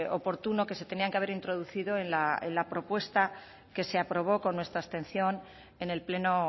oportuno que se tenían que haber introducido en la propuesta que se aprobó con nuestra abstención en el pleno